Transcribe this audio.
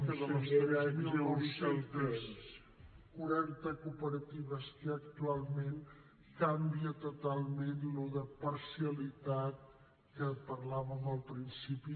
que de les tres mil nou cents i quaranta cooperatives que hi ha actualment canvia totalment allò de parcialitat que parlàvem al principi